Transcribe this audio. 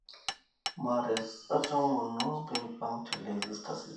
Mahrez etomonuo peipang te Leicester City.